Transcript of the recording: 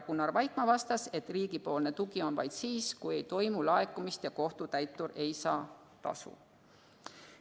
Gunnar Vaikmaa vastas, et riigi tugi on vaid siis, kui ei toimu laekumist ja kohtutäitur ei saa tasu.